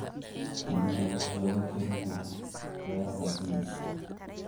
Shinnida waxaa lagu korin karaa beeraha bean.